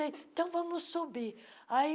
sei Então, vamos subir. aí